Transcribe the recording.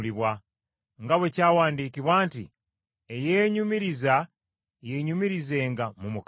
nga bwe kyawandiikibwa nti eyeenyumiriza yeenyumirizenga mu Mukama waffe.